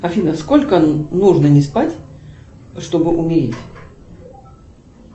афина сколько нужно не спать чтобы умереть